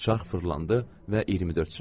Şax fırlandı və 24 çıxdı.